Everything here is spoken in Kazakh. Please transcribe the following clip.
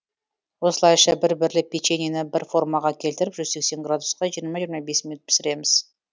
осылайша бір бірлеп печеньені бір формаға келтіріп жүз сексен градуста жиырма жиырма бес минут пісіреміз